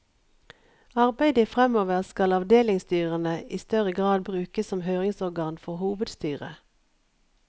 I arbeidet framover, skal avdelingsstyrene i større grad brukes som høringsorgan for hovedstyret.